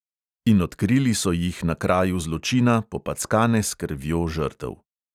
In odkrili so jih na kraju zločina, popackane s krvjo žrtev.